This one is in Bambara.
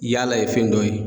Yaala ye fɛn dɔ ye